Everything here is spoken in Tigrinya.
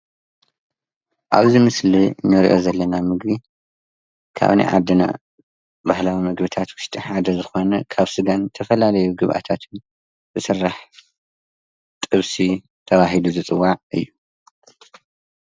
ኣብዚ ምስሊ እንሪኦ ዘለና ምግቢ ካብ ናይ ዓድና ባህላዊ ምግብታት ውሽጢ ሓደ ኾይኑ ካብ ስጋን ዝተፈላለዩ ግብኣታትን ዝስራሕ ጥብሲ ተባሂሉ ዝፅዋዕ እዩ።